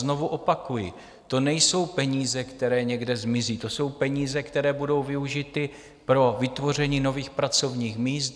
Znovu opakuji, to nejsou peníze, které někde zmizí, to jsou peníze, které budou využity pro vytvoření nových pracovních míst.